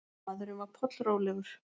Maðurinn var pollrólegur.